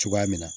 Cogoya min na